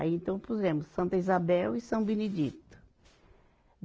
Aí, então, pusemos Santa Isabel e São Benedito.